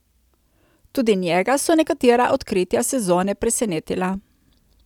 Tudi njega so nekatera odkritja sezone presenetila.